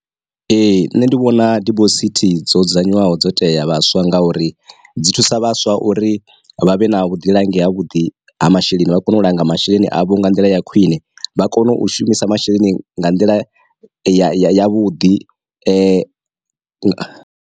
Ee nṋe ndi vhona dibosithi dzo dzudzanywaho dzo tea vhaswa ngauri dzi thusa vhaswa uri vha vhe na vhuḓilangi ha vhuḓi ha masheleni vha kone u langa masheleni avho nga nḓila ya khwine, vha kone u shumisa masheleni nga nḓila ya ya ya vhuḓi .